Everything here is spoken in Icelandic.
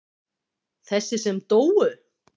Þessi sem dóu?